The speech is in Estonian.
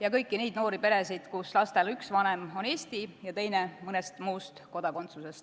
ja kõiki neid noori peresid, kus lastel üks vanem on Eesti ja teine mõne muu riigi kodanik.